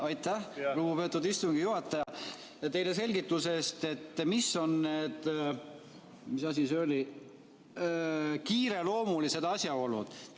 Aitäh, lugupeetud istungi juhataja, teile selgituse eest, mis on need kiireloomulised asjaolud!